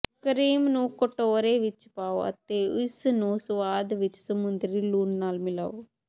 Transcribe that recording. cream ਨੂੰ ਕਟੋਰੇ ਵਿੱਚ ਪਾਓ ਅਤੇ ਇਸ ਨੂੰ ਸੁਆਦ ਵਿੱਚ ਸਮੁੰਦਰੀ ਲੂਣ ਨਾਲ ਮਿਲਾਓ